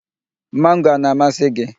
Mango a na-amasị gị?